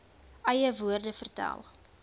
eie woorde vertel